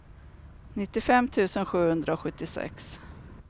nittiofem tusen sjuhundrasjuttiosex